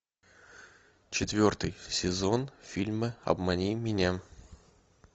четвертый сезон фильма обмани меня